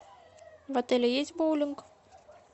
в отеле есть боулинг